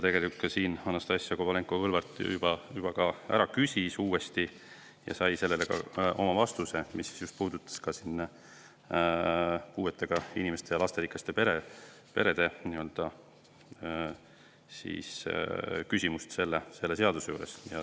Tegelikult Anastassia Kovalenko-Kõlvart küsis täna uuesti sama küsimuse ja sai sellele vastuse, mis puudutas puuetega inimeste ja lasterikaste perede selle seaduse puhul.